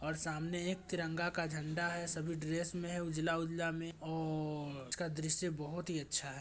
और सामने एक तिरंगा का झंडा है। सभी ड्रेस में है उजला - उजला में औररर उसका दृश्य बहुत ही अच्छा है।